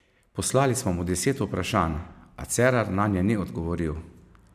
Poslali smo mu deset vprašanj, a Cerar nanje ni odgovoril.